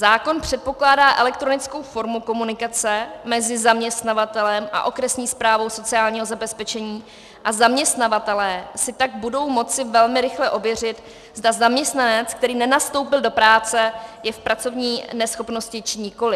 Zákon předpokládá elektronickou formu komunikace mezi zaměstnavatelem a okresní správou sociálního zabezpečení a zaměstnavatelé si tak budou moci velmi rychle ověřit, zda zaměstnanec, který nenastoupil do práce, je v pracovní neschopnosti, či nikoliv.